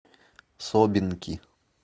собинки